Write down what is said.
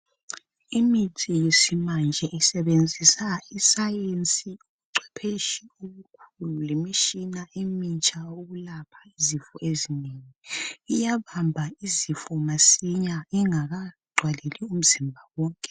Imithi yesimanje isebenzisa isayinsi ocophetshi le imtshina emitsha oyokulapha izifo ezinengi. Iyabamba izifo masinya ingakagwaleli umzimba wonke.